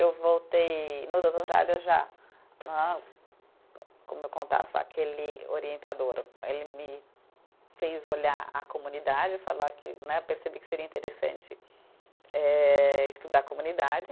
Eu voltei, no doutorado eu já né, como eu contava, aquele orientador, ele me fez olhar a comunidade falar que né, percebi que seria interessante eh, estudar comunidade.